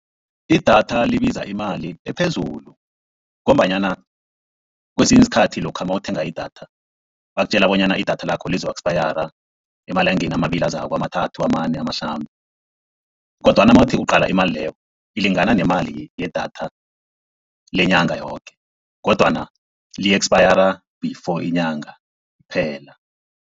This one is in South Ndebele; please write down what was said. Idatha libiza imali ephezulu, ngombanyana kwesinye isikhathi lokha nawuthenga idatha bakutjela bonyana idatha lakho lizoku-eksapayara emalangeni amabili azako amathathu, amane, amahlanu. Kodwana nawuthi uqala imali leyo ilingana nemali yedatha lenyanga yoke kodwana li-ekspayara before inyanga phela.